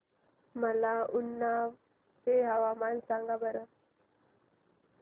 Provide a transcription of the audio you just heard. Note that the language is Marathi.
मला उन्नाव चे हवामान सांगा बरं